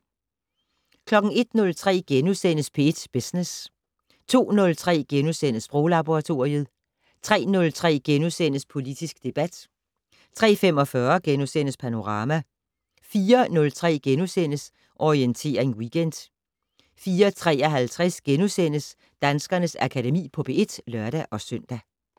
01:03: P1 Business * 02:03: Sproglaboratoriet * 03:03: Politisk debat * 03:45: Panorama * 04:03: Orientering Weekend * 04:53: Danskernes Akademi på P1 *(lør-søn)